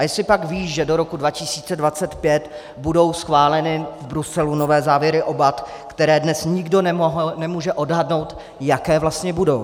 A jestlipak ví, že do roku 2025 budou schváleny v Bruselu nové závěry o BAT, které dnes nikdo nemůže odhadnout, jaké vlastně budou?